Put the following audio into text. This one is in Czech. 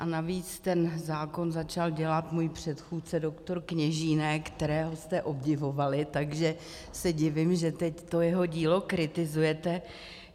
A navíc ten zákon začal dělat můj předchůdce doktor Kněžínek, kterého jste obdivovali, takže se divím, že teď to jeho dílo kritizujete.